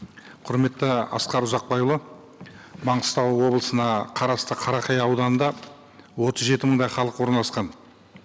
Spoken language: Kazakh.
құрметті асқар ұзақбайұлы маңғыстау облысына қарасты қарақия ауданында отыз жеті мыңдай халық орналасқан